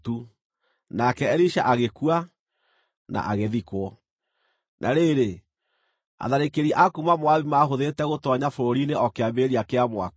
Nake Elisha agĩkua na agĩthikwo. Na rĩrĩ, atharĩkĩri a kuuma Moabi maahũthĩrĩte gũtoonya bũrũri-inĩ o kĩambĩrĩria kĩa mwaka.